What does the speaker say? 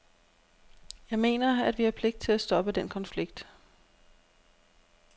Jeg mener, at vi har pligt til at stoppe den konflikt.